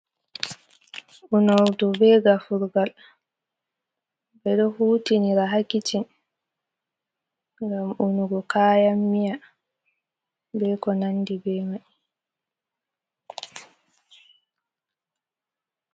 Unordu be gafurgal, ɓe ɗo hutinira ha kicin ngam unugo kayan miya, be ko nandi be mai.